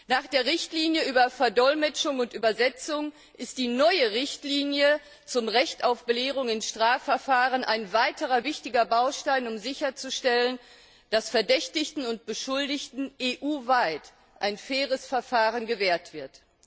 Nach der Richtlinie über Verdolmetschung und Übersetzung ist die neue Richtlinie zum Recht auf Belehrung in Strafverfahren ein weiterer wichtiger Baustein, um sicherzustellen, dass Verdächtigten und Beschuldigten EU weit ein faires Verfahren gewährt wird.